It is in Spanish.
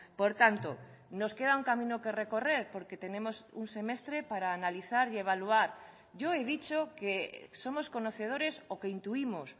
por tanto nos queda un camino que recorrer porque tenemos un semestre para analizar y evaluar yo he dicho que somos conocedores o que intuimos